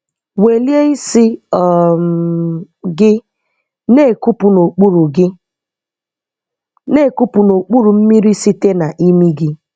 Welie isi um gị, na-ekupụ n'okpuru gị, na-ekupụ n'okpuru mmiri site na imi gị.